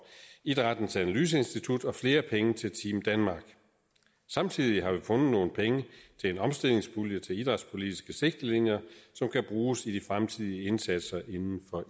idrættens analyseinstitut og flere penge til team danmark samtidig har vi fundet nogle penge til en omstillingspulje til idrætspolitiske sigtelinjer som kan bruges i de fremtidige indsatser inden for